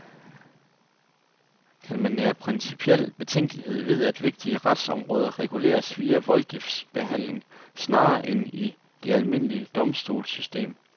Kan man nære principiel betænkelighed ved, at vigtige retsområder reguleres via voldgiftsbehandling snarere end i det almindelige domstolssystem?